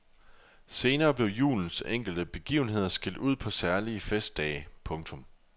Senere blev julens enkelte begivenheder skilt ud på særlige festdage. punktum